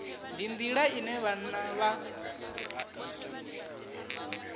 ndi nḓila ine vhanna vha